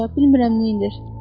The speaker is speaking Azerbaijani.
Bilmirəm neynir.